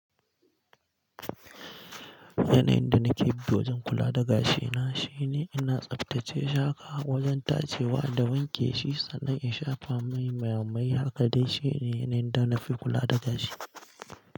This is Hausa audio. Yanayin da nake bi wajen kula da gashina shine ina tsaftace shaƙa wajen tacewa da wanke shi sannan in shafa mai mai. Haka dai shine yanayin da nafi kula da gashi.